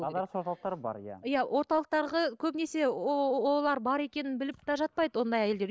орталықтары бар иә иә орталықтарға көбінесе олар бар екенін біліп те жатпайды ондай әйелдер